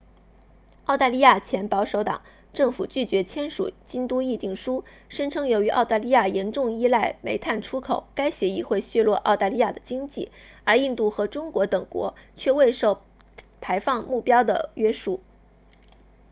澳大利亚前保守党政府拒绝签署京都议定书声称由于澳大利亚严重依赖煤炭出口该协议会削弱澳大利亚的经济而印度和中国等国却未受排放目标的约束